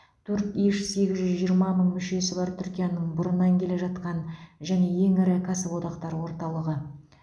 турк иш сегіз жүз жиырма мың мүшесі бар түркияның бұрыннан келе жатқан және ең ірі кәсіподақтар орталығы